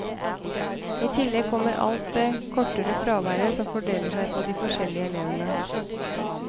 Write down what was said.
I tillegg kommer alt det kortere fraværet, som fordeler seg på de forskjellige elevene.